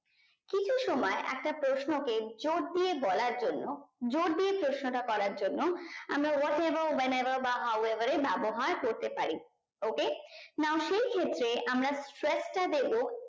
কি কি সময় একটা প্রশ্নকে জোর দিয়ে বলার জন্য জোর দিয়ে প্রশ্ন টা করার জন্য আমরা what ever when ever বা how ever এর ব্যাবহার করতে পারি okay নাও সেই ক্ষেত্রে আমরা stretch টা দেব